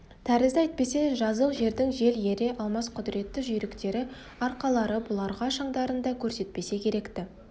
тәрізді әйтпесе жазық жердің жел ере алмас құдіретті жүйріктері арқарлары бұларға шаңдарын да көрсетпесе керек-ті